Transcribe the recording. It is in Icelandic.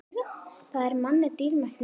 Það er manni dýrmætt núna.